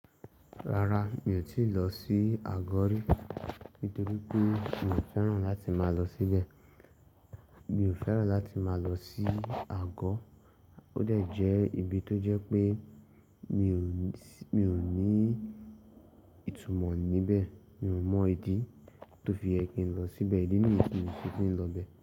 Rara, mi ò tíì lọ sí Agodi nítorí pé mi ò fẹ́ràn láti máa lọ síbẹ̀. Mi ò fẹ́ràn láti máa lọ sí Agọ, ó dẹ̀ jẹ́ ibi tó jẹ́ pé mi ò ní, mi ò ní ìtumọ̀ níbẹ̀. Mi ò mọ̀ ìdí tó fi ṣe kí n lọ síbẹ̀. Idi niyí tí mió ṣe kí n lọ bẹ̀?